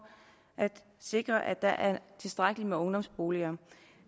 at sikre at der er tilstrækkeligt med ungdomsboliger